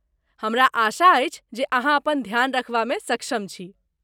हमरा आशा अछि जे अहाँ अपन ध्यान रखबामे सक्षम छी।